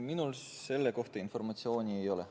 Minul selle kohta informatsiooni ei ole.